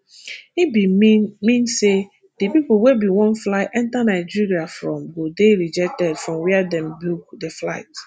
e bin mean mean say di pipo wey bin wan fly enta nigeria from go dey rejected from wia dem book di flight